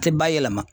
A tɛ ba yɛlɛma